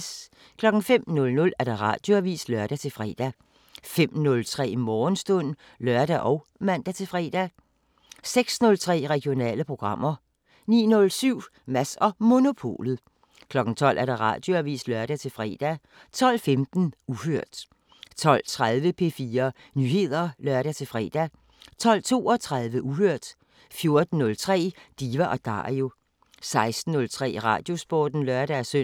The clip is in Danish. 05:00: Radioavisen (lør-fre) 05:03: Morgenstund (lør og man-fre) 06:03: Regionale programmer 09:07: Mads & Monopolet 12:00: Radioavisen (lør-fre) 12:15: Uhørt 12:30: P4 Nyheder (lør-fre) 12:32: Uhørt 14:03: Diva & Dario 16:03: Radiosporten (lør-søn)